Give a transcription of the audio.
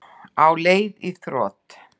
Á leið í þrot